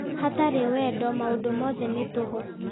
Hatarĩ wendo maũndũ mothe nĩ tũhũ